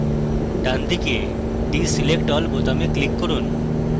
ডানদিকে deselect all বোতামে click করুন